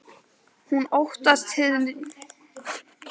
Hún óttast hið nýja líf sitt.